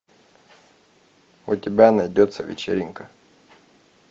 у тебя найдется вечеринка